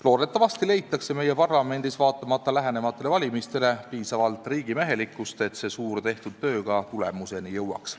Loodetavasti leitakse meie parlamendis vaatamata lähenevatele valimistele piisavalt riigimehelikkust, et see suur tehtud töö ka tulemuseni jõuaks.